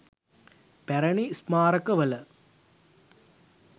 පැරැණි ස්මාරකවල